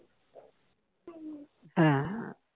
হ্যা